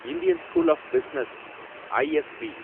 Indian school of business, ISP